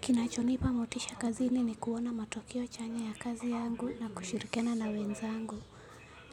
Kinachonipa motisha kazini ni kuona matokeo chanya ya kazi yangu na kushirikiana na wenzangu.